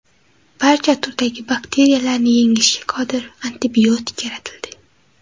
Barcha turdagi bakteriyalarni yengishga qodir antibiotik yaratildi.